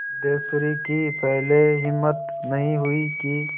सिद्धेश्वरी की पहले हिम्मत नहीं हुई कि